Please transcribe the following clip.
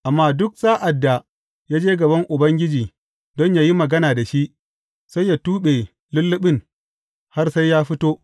Amma duk sa’ad da ya je gaban Ubangiji don yă yi magana da shi, sai yă tuɓe lulluɓin har sai ya fito.